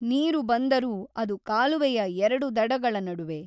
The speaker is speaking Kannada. ನೀರು ಬಂದರೂ ಅದು ಕಾಲುವೆಯ ಎರಡು ದಡಗಳ ನಡುವೆ.